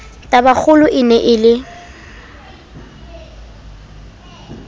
tabakgolo e ne e le